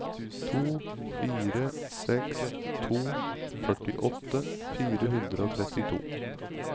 to fire seks to førtiåtte fire hundre og trettito